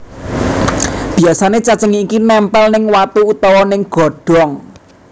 Biasané cacing iki nempel ning watu utawa ning godhong